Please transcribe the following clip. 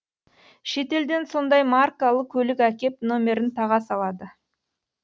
шетелден сондай маркалы көлік әкеп номерін таға салады